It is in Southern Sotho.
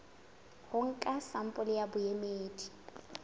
ho nka sampole ya boemedi